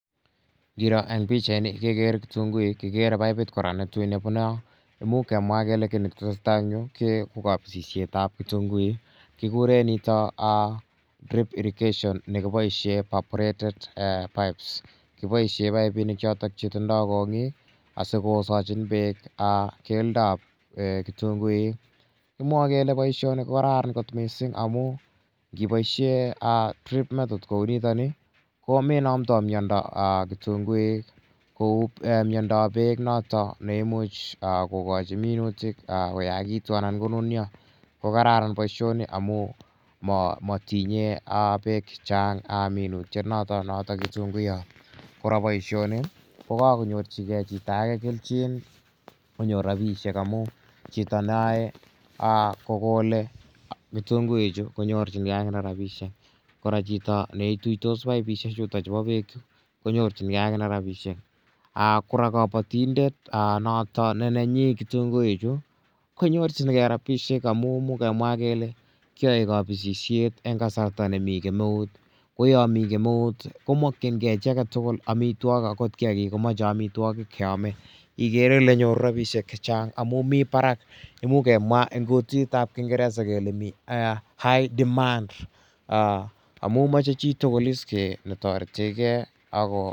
Ngiro en pichaini kekere kitunguik. Kikere paipit kora ne koi ne pune yo. Imuch kemwa kele ki ne tese tai en yu ko kapisishet ap kitunguik kikure nitok drip irrigation ne kipoishe paforated pipes. Kipoishe paipinik chotok che tindai kong'iik asikosachin peek keldoap kitunguik. Kimwae kele poishoni ko karafan missing' amu ngipoishe drip method kou nitani ko me namdai miondo kitunguik kou miondoap peek notok ne imuch kokachi minutik koyakitu anan konunya. Ko kararan poishoni amu ma tinyei peek che chang' minutienotok notok Kitunguyat. Kora poishoni ko kakonyorchigei chito age kelchin konyor rapishek amu chito ne yae kokole kitunguichu konyorchingei akine rapishek. Kora chito ne ituitos paipishechutachu pa peek chu konyorchingei akine rapishek. Kora kapatindet notok ne nenyi kitunguichu ko nyorchingei rapishek amu imuch kemwa kele kiyae kapisishet eng' kasarta ne mi kemeut. Ko ya mi kemeut ko makchingei ki age tugul amitwogik akot kiakik komache amitwogik che ame. Ikere ile nyoru rapishek che chang' amu mi parak imuch kemwa eng' kutit ap kingeresa kele mi high demand amu mache chi tugul is ne tarete gei.